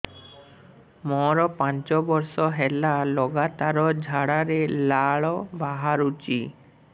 ମୋରୋ ପାଞ୍ଚ ବର୍ଷ ହେଲା ଲଗାତାର ଝାଡ଼ାରେ ଲାଳ ବାହାରୁଚି